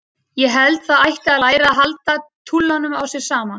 Ég held það ætti að læra að halda túlanum á sér saman.